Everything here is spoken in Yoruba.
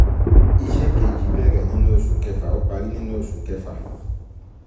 Iṣẹ́ kejī bẹ̀rẹ̀ nínú oṣù kẹfà, ó parí nínú oṣù kẹfà.